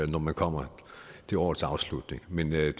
når man kommer til årets afslutning men jeg